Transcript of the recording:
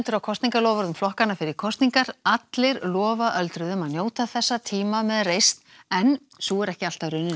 á kosningaloforðum flokkanna fyrir kosningar allir lofa öldruðum að njóta þessa tíma með reisn en sú er ekki alltaf raunin